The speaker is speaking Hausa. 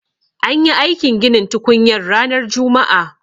An yi aikin ginin tukunyar ranar juma'a.